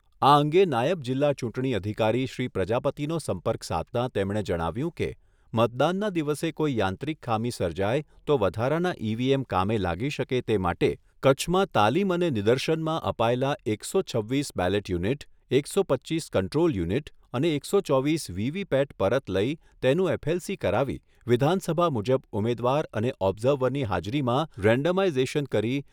આ અંગે નાયબ જિલ્લા ચૂંટણી અધિકારી શ્રી પ્રજાપતિનો સંપર્ક સાધતાં તેમણે જણાવ્યુંં કે, મતદાનના દિવસે કોઈ યાંત્રિક ખામી સર્જાય તો વધારાના ઈવીએમ કામે લાગી શકે તે માટે કચ્છમાં તાલીમ અને નિદર્શનમાં અપાયેલા એકસો છવ્વીસ બેલેટ યુનિટ, એકસો પચ્ચીસ કન્ટ્રોલ યુનિટ અને એકસો ચોવીસ વીવીપેટ પરત લઈ તેનું એફએલસી કરાવી વિધાનસભા મુજબ ઉમેદવાર અને ઓબ્ઝર્વરની હાજરીમાં રેન્ડમાઇઝેશન કરી